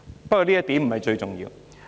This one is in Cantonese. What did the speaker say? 不過，這點不是最重要。